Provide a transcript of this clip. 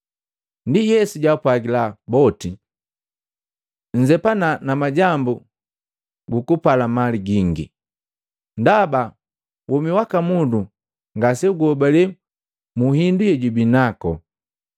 Ndi Yesu jaapwajila boti, “Nnzepana na majambu gukupala mali gingi! Ndaba womi waka mundu ngaseguhobale mu hindu yejubi nako.”